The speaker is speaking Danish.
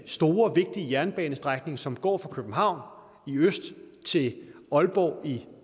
store vigtige jernbanestrækning som går fra københavn i øst til aalborg i